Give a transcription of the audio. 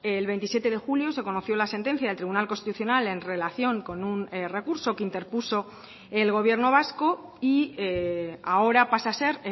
el veintisiete de julio se conoció la sentencia del tribunal constitucional en relación con un recurso que interpuso el gobierno vasco y ahora pasa a ser